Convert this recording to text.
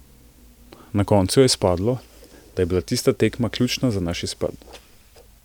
Na koncu je izpadlo, da je bila tista tekma ključna za naš izpad.